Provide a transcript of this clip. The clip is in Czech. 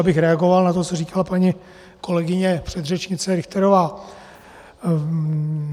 Abych reagoval na to, co říkala paní kolegyně předřečnice Richterová.